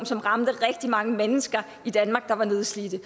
som ramte rigtig mange mennesker i danmark der var nedslidte